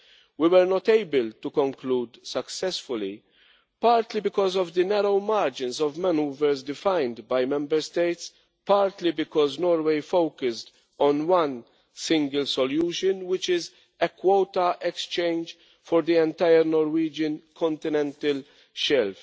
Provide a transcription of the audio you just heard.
We were not able to conclude successfully, partly because of the narrow margins of manoeuver defined by Member States, and partly because Norway focused on one single solution, which is a quota exchange for the entire Norwegian continental shelf.